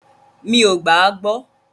Mí o gbà à gbọ.